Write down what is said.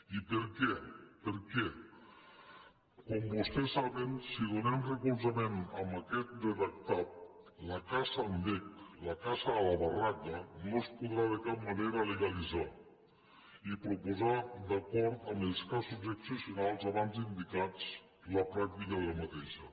i per què per què com vostès saben si donem recolzament a aquest redactat la caça amb vesc la caça a la barraca no és podrà de cap manera legalitzar i proposar d’acord amb els casos excepcionals abans indicats la pràctica d’aquesta caça